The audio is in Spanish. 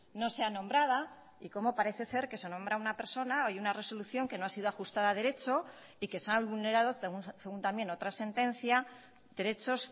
no sea nombrada y como parece ser que se nombra a una persona y una resolución que no ha sido ajustada a derecho y que se han vulnerado según también otra sentencia derechos